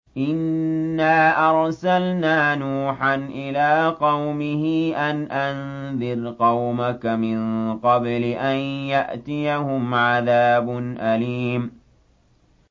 إِنَّا أَرْسَلْنَا نُوحًا إِلَىٰ قَوْمِهِ أَنْ أَنذِرْ قَوْمَكَ مِن قَبْلِ أَن يَأْتِيَهُمْ عَذَابٌ أَلِيمٌ